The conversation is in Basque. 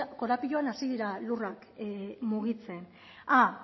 korapiloan hasi dira lurrak mugitzen ah